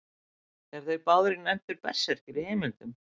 Eru þeir báðir nefndir berserkir í heimildum.